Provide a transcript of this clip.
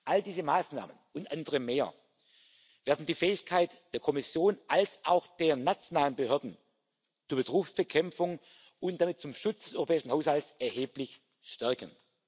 All diese Maßnahmen und andere mehr werden die Fähigkeit der Kommission und auch der nationalen Behörden zur Betrugsbekämpfung und damit zum Schutz des europäischen Haushalts erheblich stärken.